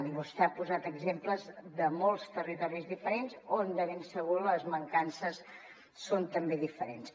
i vostè ha posat exemples de molts territoris diferents on de ben segur que les mancances són també diferents